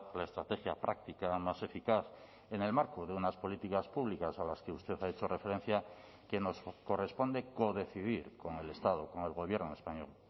la estrategia práctica más eficaz en el marco de unas políticas públicas a las que usted ha hecho referencia que nos corresponde codecidir con el estado con el gobierno español